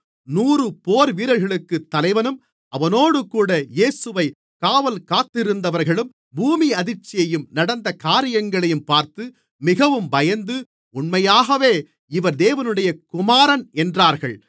நூறு போர்வீரர்களுக்குத் தலைவனும் அவனோடுகூட இயேசுவைக் காவல் காத்திருந்தவர்களும் பூமியதிர்ச்சியையும் நடந்த காரியங்களையும் பார்த்து மிகவும் பயந்து உண்மையாகவே இவர் தேவனுடைய குமாரன் என்றார்கள்